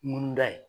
Munu da ye